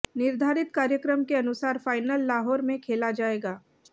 निर्धारित कार्यक्रम के अनुसार फाइनल लाहौर में खेला जायेगा